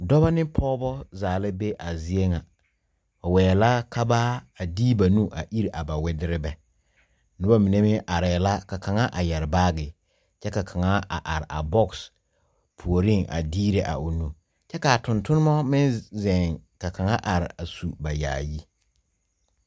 Dɔba ne pɔgba zaa la be a zeɛ nga ba weɛ la ka ba de ba nu a iri a ba widiribɛ nuba mene meng arẽ la ka kanga a yere baagi kye ka kanga a arẽ a box poɔring a diire a ɔ nu kye ka a tuntumo meng zeng ka kanga arẽ a su ba yaayi.